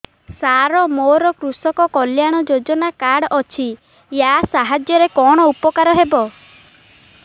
ସାର ମୋର କୃଷକ କଲ୍ୟାଣ ଯୋଜନା କାର୍ଡ ଅଛି ୟା ସାହାଯ୍ୟ ରେ କଣ ଉପକାର ହେବ